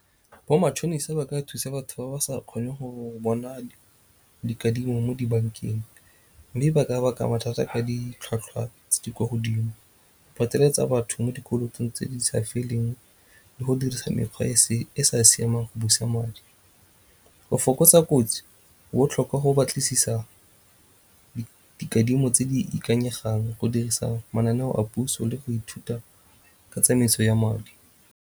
Bo matšhonisa ba ka thusa batho ba ba sa kgoneng go bona dikadimo mo dibankeng mme ba ka baka mathata ka ditlhwatlhwa tse di kwa godimo. Ba batho mo dikolotong tse di sa feleng le go dirisa mekgwa e sa siamang ya go busa madi. Go fokotsa kotsi go botlhokwa go batlisisa dikadimo tse di ikanyegang, go dirisa mananeo a puso le go ithuta ka tsamaiso ya madi.